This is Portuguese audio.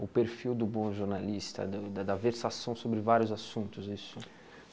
O perfil do bom jornalista, do da versação sobre vários assuntos isso.